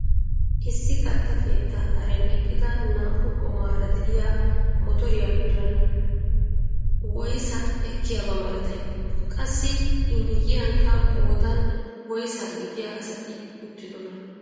Issi katta keettaa karen eqqida naa"u goomaara de'iyaa motoriyaa biran woyssaa ekkiyaaba malatay? qassi i miyiyanikka qoodan woysaa gidiyaa asati uttidonaa?